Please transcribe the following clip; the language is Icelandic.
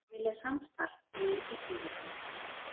Vilja samstarf við Íslendinga